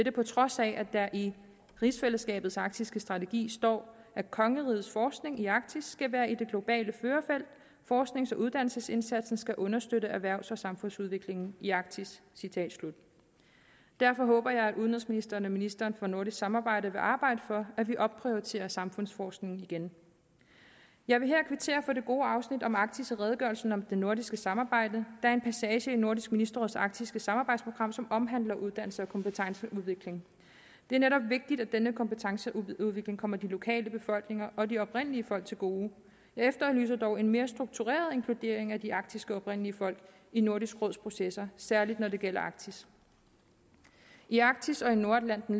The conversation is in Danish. er på trods af at der i rigsfællesskabets arktiske strategi står at kongerigets forskning i arktis skal være i det globale førerfelt forsknings og uddannelsesindsatsen skal understøtte erhvervs og samfundsudviklingen i arktis derfor håber jeg at udenrigsministeren og ministeren for nordisk samarbejde vil arbejde for at vi opprioriterer samfundsforskningen igen jeg vil her kvittere for det gode afsnit om arktis i redegørelsen om det nordiske samarbejde er en passage i nordisk ministerråds arktiske samarbejdsprogram som omhandler uddannelse og kompetenceudvikling det er netop vigtigt at denne kompetenceudvikling kommer de lokale befolkninger og de oprindelige folk til gode jeg efterlyser dog en mere struktureret inkludering af de arktiske oprindelige folk i nordisk råds processer særligt når det gælder arktis i arktis og i nordatlanten